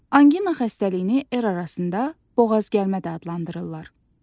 Anqina xəstəliyini el arasında boğaz gəlmə də adlandırırlar.